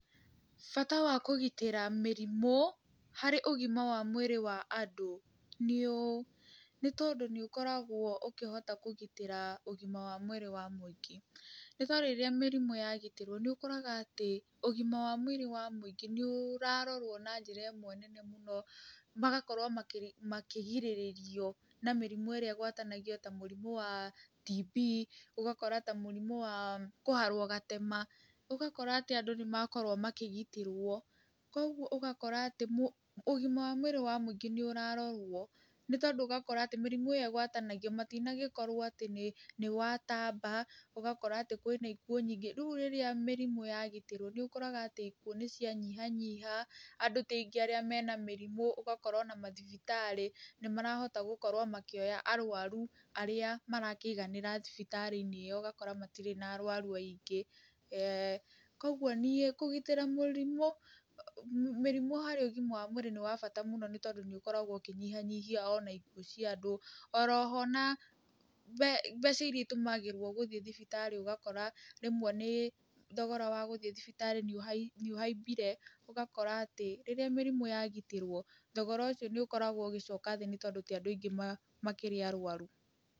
Bata wa kũgitĩra mĩrimũ harĩ ũgima wa mwĩrĩ wa andũ nĩũũ. Nĩtondũ nĩũkoragwo ũkĩhota kũgitĩra ũgima wa mwĩrĩ wa mũingĩ. Nĩ ta rĩrĩa mĩrimũ yagitĩrwo nĩũkoraga atĩ ũgima wa mwĩrĩ wa mũingĩ nĩũrarorwo na njĩra ĩmwe nene mũno, magakorwo makĩrĩ, makĩgĩrĩrĩrio na mĩrimũ ĩrĩa ĩgwatanagio ta mũrimũ wa TB, ũgakora ta mũrimũ wa kũharwo gatema, ũgakora atĩ andũ nĩmakorwo makĩgitĩrwo. Kogwo ũgakora atĩ mũ, ũgima wa mwĩrĩ wa mũingĩ nĩũrarorwo, nĩtondũ ũgakora atĩ mĩrimũ ĩyo ĩgwatanagio matinagĩkorwo atĩ nĩ, nĩwatamba ũgakora atĩ kwĩna ikuũ nyingĩ. Rĩu rĩrĩa mĩrimũ yagitĩrwo nĩũkoraga atĩ ikuũ nĩcianyihanyiha, andũ ti aingĩ arĩa mena mĩrimũ, ũgakora ona mathibitarĩ nĩmarahota gũkorwo makĩoya arwaru arĩa marakĩiganĩra thibitarĩ-inĩ ĩyo ũgakora matirĩ na arwaru aingĩ. Kogwo niĩ kũgitĩra mũrimũ, mĩrimũ harĩ ũgima wa mwĩrĩ nĩwabata mũno nĩtondũ nĩũkoragwo ũkĩnyihanyihia ona ikuũ cia andũ, oroho na mbe, mbeca iria itũmagĩrwo gũthiĩ thibitarĩ ũgakora rĩmwe nĩ, thogora wagũthiĩ thibitarĩ nĩũhai, nĩũhaimbire, ũgakora atĩ rĩrĩa mĩrimũ yagitĩrwo thogorocio nĩũkoragwo ũgĩcoka thĩ nĩtondũ tiandũ aingĩ ma, makĩrĩ arwaru.